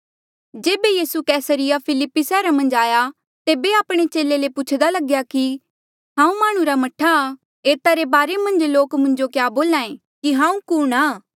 जेबे यीसू Caesarea Philippi सैहरा मन्झ आया तेबे आपणे चेले ले पूछदा लग्या कि हांऊँ माह्णुं रा मह्ठा आ एता रे बारे मन्झ लोक मुंजो क्या बोल्हा ऐें की हांऊँ कुणहां